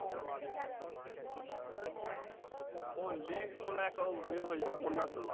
ওর list মনে হয় একটা য়ে হয়ে যাবে উপন্যাস হয়ে যাবে